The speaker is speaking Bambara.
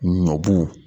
Ɲɔbu